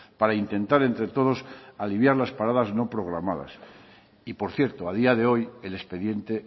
para intentar entre todos alinear las paradas no programadas y por cierto a día de hoy el expediente